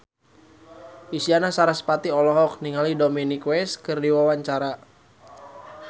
Isyana Sarasvati olohok ningali Dominic West keur diwawancara